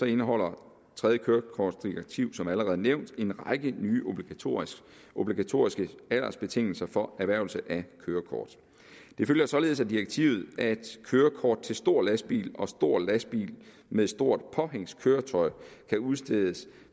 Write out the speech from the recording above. indeholder tredje kørekortdirektiv som allerede nævnt en række nye obligatoriske obligatoriske aldersbetingelser for erhvervelse af kørekort det følger således af direktivet at kørekort til stor lastbil og til stor lastbil med stort påhængskøretøj kan udstedes